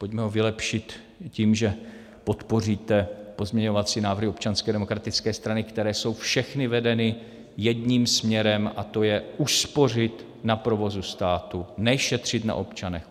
Pojďme ho vylepšit tím, že podpoříte pozměňovací návrhy Občanské demokratické strany, které jsou všechny vedeny jedním směrem, a to je uspořit na provozu státu, ne šetřit na občanech.